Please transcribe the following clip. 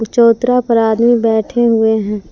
चौतारा पर आदमी बैठे हुए हैं।